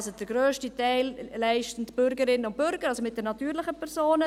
Den grössten Teil leisten also die Bürgerinnen und Bürger, die natürlichen Personen.